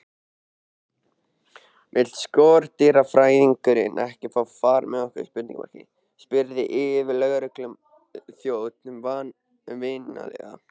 Vill skordýrafræðingurinn ekki fá far með okkur? spurði yfirlögregluþjónninn vingjarnlega.